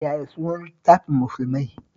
Yaya sunan littafin Musulmai?